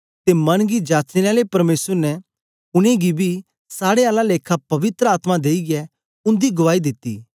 ते मन गी जाचने आले परमेसर ने उनेंगी बी साड़े आला लेखा पवित्र आत्मा देईयै उन्दी गुआई दिती